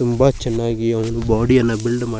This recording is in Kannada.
ತುಂಬಾ ಚೆನ್ನಾಗಿ ಅವನ ಬಾಡಿಯನ್ನು ಬಿಲ್ಡ್ ಮಾಡಿ --